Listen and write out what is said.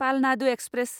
Palnadu express